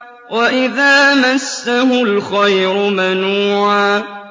وَإِذَا مَسَّهُ الْخَيْرُ مَنُوعًا